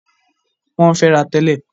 Wọ́n ń fẹ́ra tẹ́lẹ̀.